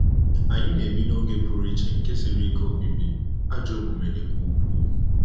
Anyị na-ebi 'n'oge pụrụ iche nke siri ike obibi,' ajọ omume dịkwa ukwuu.